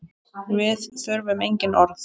Við þurfum engin orð.